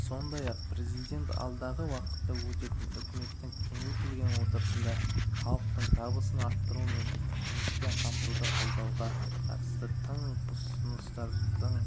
сондай-ақ президент алдағы уақытта өтетін үкіметтің кеңейтілген отырысында халықтың табысын арттыру мен жұмыспен қамтуды қолдауға қатысты тың ұсыныстарын